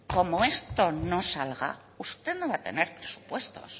como esto no salga usted no va a tener presupuestos